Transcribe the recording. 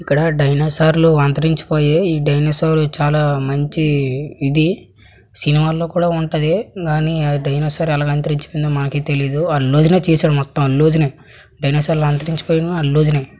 ఇక్కడ డైనోసార్ లు అంతరించి పోయాయ్. ఈ డైనోసార్ లు చాలా మంచి ఇది. సినిమాల్లో కూడా ఉంటది. కానీ అద్ డైనోసార్ లు ఎలాగ అంతరించి పోయిందో మాకే తెలియదు. అల్లు అర్జునే చేశాడు. మొత్తం అల్లు అర్జునే డైనోసార్ లు అంతరించి పోయిన అల్లు అర్జునే.